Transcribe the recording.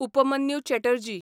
Upmanyu Chatterjee